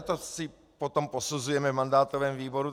A to si potom posuzujeme v mandátovém výboru.